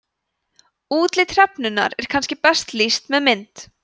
útliti hrefnunnar er kannski best lýst með mynd